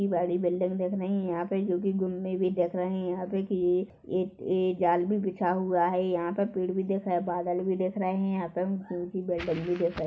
बड़ी बिल्डिंग दिख रही हैं यहाँ पे जो की भी दिख रही हैं यहाँ पे के एक-एक जाल भी बिछा हुआ हैं यहाँ पर पेड़ भी देख रहे हैं बादल भी दिख रहे हैं यहाँ पर--